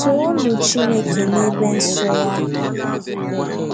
Toonu Chineke n'ebe nsọ Ya: